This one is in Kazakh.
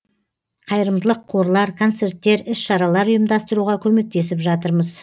қайырымдылық қорлар концерттер іс шаралар ұйымдастыруға көмектесіп жатырмыз